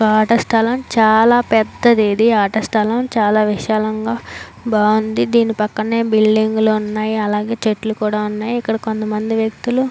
ఆట స్థలం చాల పెద్దది ఆట స్థలం చాల విశాలంగా బాగుంది దీన్ని పక్కనే బిల్డింగ్ ఉన్నాయ్ అలాగే చెట్లు కూడా ఉన్నాయ్ ఇక్కడ కొంతమంది వెక్తులు--